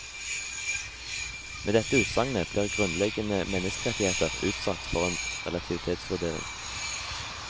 Med dette utsagnet blir grunnleggende menneskerettigheter utsatt for en relativitetsvurdering.